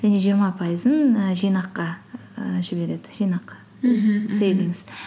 және жиырма пайызын і жинаққа і жібереді жинақ